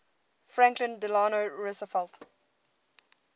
franklin delano roosevelt